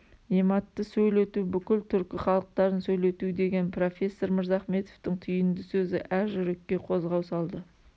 нематты сөйлету бүкіл түркі халықтарын сөйлетудеген профессор мырзахметовтың түйінді сөзі әр жүрекке қозғау салды